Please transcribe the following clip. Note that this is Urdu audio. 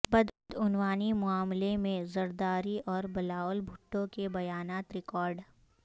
بدعنوانی معاملہ میں زرداری اور بلاول بھٹو کے بیانات ریکارڈ